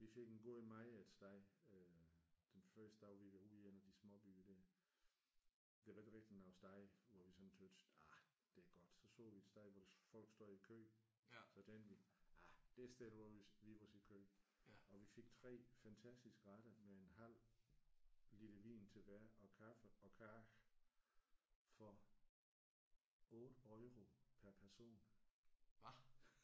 Vi fik en god mad et sted øh den første dag vi var ude i en af de småbyer der. Der var ikke rigtig noget sted hvor vi sådan syntes ah det er godt. Så så vi et sted hvor folk stod i kø. Så tænkte vi ah det sted der må vi må vi stille os i kø. Og vi fik 3 fantastiske retter med en halv liter vin til hver og kaffe og kage for 8 euro pr person